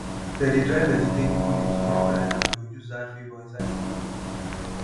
they dey dry vegetable leaf come grind am to use add flavour inside stew